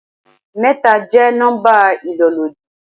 Mẹ́ta jẹ́ nọ́ḿbà ìlólòdí.